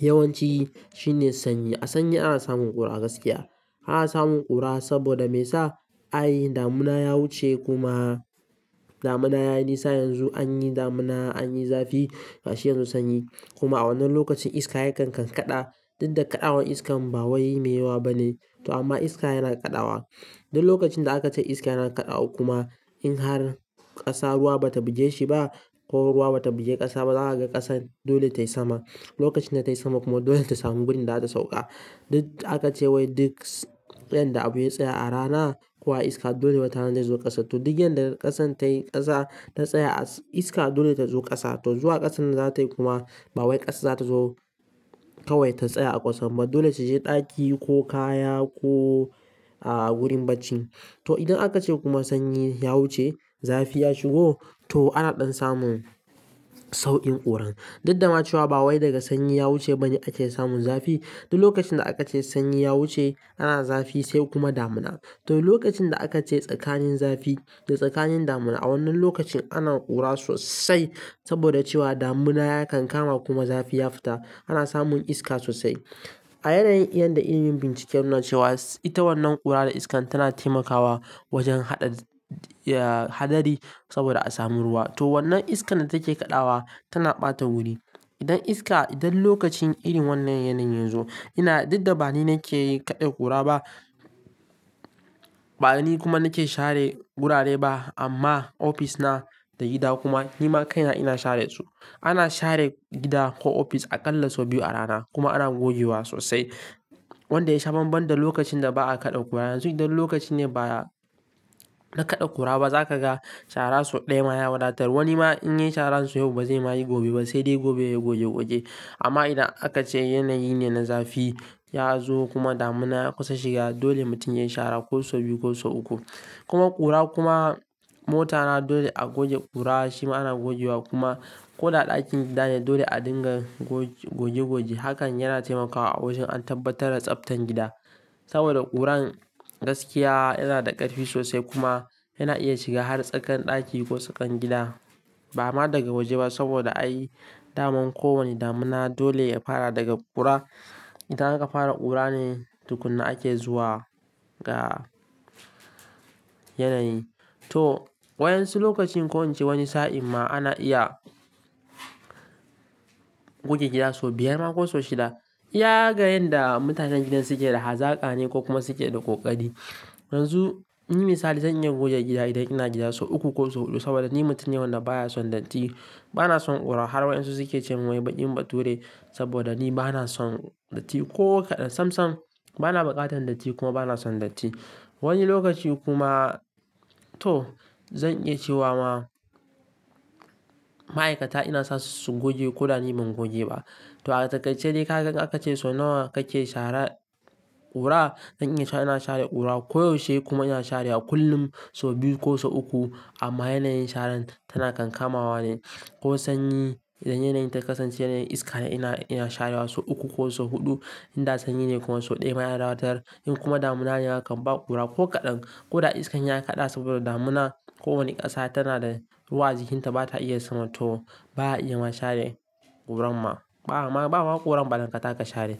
yawanci shine sanyi. A sanyi ana samun ƙura gaskiya. Ana samun ƙura saboda me sa ai damuna ya wuce kuma damuna ya yi nisa yanzu anyi damuna, anyi zafi, gashi yanzu sanyi. Kuma a wannan lokacin iska yakan kankada duk da kaɗawan iskan ba wai meyawa bane. To amma iska yana kaɗawa. Duk lokacin da aka ce iska yana kaɗawa kuma in har ƙasa ruwa bata buje shi ba ko ruwa bata buje ƙasa ba, za ka ga ƙasan dole tai sama. Lokacin da tai sama kuma dole ta samu wurin da za ta sauƙa. Duk aka ce wai duk, s, yan da abun ya tsaya a rana ko iska dole bata nan dai zuwa ƙasa. To duk yan da ƙasan tai ƙasa ta tsaya a iska dole ta zo ƙasa. To zuwa ƙasan da zatayi kuma ba wai ƙasa za ta zo kawai ta tsaya a ƙasan ba. Dole ta je ɗaki ko kaya ko, ah, gurin bacci. To idan aka ce kuma sanyi ya wuce, zafi ya shigo to ana ɗan samun sauƙin ƙuran. Duk da macewa ba wai daga sanyi ya wuce bane ake samun zafi. Duk lokacin da aka ce sanyi ya wuce ana zafi sai kuma damuna. To lokacin da aka ce tsakanin zafi da tsakanin damuna a wannan lokacin ana ƙura sosai saboda cewa damuna yakan kama kuma zafi ya fita. Ana samun iska sosai. A yanayin, yan da ilimin bincike ya nuna cewa ita wannan ƙura da iskan tana taimakawa wajen haɗa, ya, hadari saboda a sami ruwa. To wannan iskan da take kaɗawa tana ɓata wuri. Idan iska, idan lokacin irin wannan yanayin yazo ina duk da ba ni nake kaɗa ƙura ba, ba ni kuma nake share gurare ba amma ofis na da gida kuma ni ma kaina ina share su. Ana share gida ko ofis aƙalla sau biyu a rana kuma ana goge wa sosai. Wanda ya shaban banda lokacin da ba'a kaɗa ƙura. Yanzu idan lokaci ne ba na kaɗa ƙura ba za ka ga shara sau ɗaya ma ya wadatar. Wani ma in yi shara sau yau ba zai ma yi gobe ba sai dai gobe yayi goge goge. Amma idan aka ce yanayi ne na zafi ya zo kuma damuna ya kusa shiga dole mutum ya yi shara ko sau biyu ko sau uku. Kuma ƙura kuma mota na dole a goge ƙura shi ma ana goge wa kuma ko da ɗakin gida ne dole a dinga goge, goge goge. Hakan yana taimakawa a wajen an tabbatar da tsaftan gida saboda ƙuran gaskiya yana da ƙarfi sosai kuma yana iya shiga har tsakar ɗaki ko tsakar gida ba ma daga waje ba saboda ai daman ko wane damuna dole ya fara daga ƙura. Idan aka fara ƙura ne tukuna ake zuwa ga yanayi. To waɗansu lokacin ko in ce wani sa'in ma ana iya goge gida sau biyar ma ko sau shida. Ya ga yan da mutanen gidan suke da hazaka ne ko kuma suke da ƙoƙari. Yanzu ni misali zan iya goge gida idan ina gida sau uku ko sau huɗu saboda ni mutum ne wanda baya son datti. Ba na son ƙura har wa'insu suke cewa wai baɗi mu ba ture saboda ni ba na son datti ko kaɗan. Sam sam, ba na buƙatan datti kuma ba na son datti. Wani lokaci kuma to zan iya cewa ma ma'aikata ina sa su su goge ko da ni ban goge ba. To a takai ce dai ka, ka, aka ce sau nawa kake shara ƙura? Zan iya cewa ina share ƙura ko yaushe kuma ina sharewa kullum sau biyu ko sau uku amma yanayin sharan tana kankamawa ne. Ko sanyi idan yanayin ta kasance yanayin iska ne ina, ina sharewa sau uku ko sau huɗu. In da sanyi ne kuma sau ɗaya ma yana wadatar. In kuma damuna yakan ba ƙura ko kaɗan ko da iskan ya kaɗa saboda damuna ko wane ƙasa tana da ruwa a jikinta bata iya suma to baya iya ma share ƙuran ma. Ba, ba ma baƙo ƙura ba dan kata ka share.